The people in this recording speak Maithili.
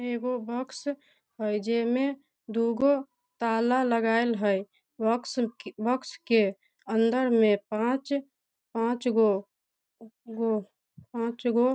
एगो बॉक्स है जेमे दुगो ताला लगाएल हई बॉक्स बॉक्स के अंदर में पांच पांच गो गो पांच गो --